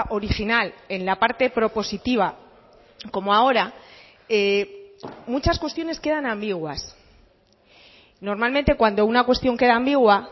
original en la parte propositiva como ahora muchas cuestiones quedan ambiguas normalmente cuando una cuestión queda ambigua